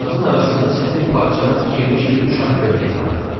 Kağızın arasında sətən parçadan tikilmiş bir uşaq köynəyi vardı.